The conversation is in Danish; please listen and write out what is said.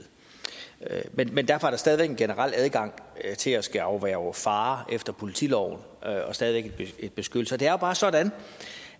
men derfor er der stadig væk en generel adgang til at skulle afværge fare efter politiloven og stadig væk en beskyttelse det er jo bare sådan